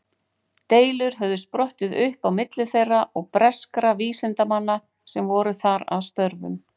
Deilur höfðu sprottið upp á milli þeirra og breskra vísindamanna sem voru þar að störfum.